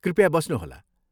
कृपया बस्नुहोला।